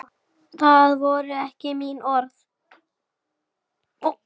Það voru ekki mín orð